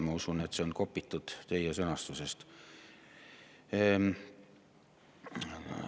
Ma usun, et siia on kopitud teie sõnastus.